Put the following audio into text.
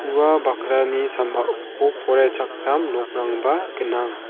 ua bakrani sambao poraichakram nokrangba gnang.